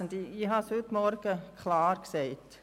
Ich habe es heute Morgen klar gesagt: